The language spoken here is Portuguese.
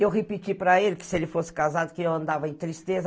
Eu repeti para ele que se ele fosse casado, que eu andava em tristeza.